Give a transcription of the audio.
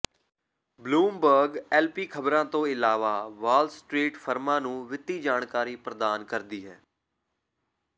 Bloomberg LP ਖਬਰਾਂ ਤੋਂ ਇਲਾਵਾ ਵਾਲ ਸਟ੍ਰੀਟ ਫਰਮਾਂ ਨੂੰ ਵਿੱਤੀ ਜਾਣਕਾਰੀ ਪ੍ਰਦਾਨ ਕਰਦੀ ਹੈ